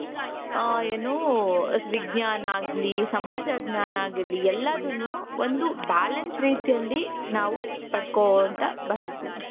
ಹ ಏನು ವಿಜ್ಞಾನ ಆಗಲಿ ಸಮಾಜ ಜ್ಞಾನ ಆಗಿರ್ಲಿ ಎಲ್ಲಾದನ್ನು ಒಂದು balanced ರೀತಿಯಲ್ಲಿ ನಾವು ಪಡ್ಕೊಳ್ತಾ ಬಂದಿದೀವಿ .